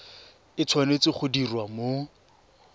e tshwanetse go diriwa mo